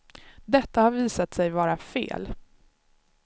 Detta har visat sig vara fel.